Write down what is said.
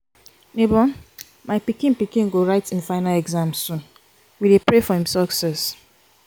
nebor my pikin pikin go write him final exams soon we dey pray for him success.